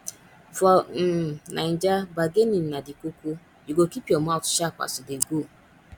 for um naija bargaining na di koko you go keep your mout sharp as you dey go